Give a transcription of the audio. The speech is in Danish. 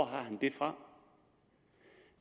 han det fra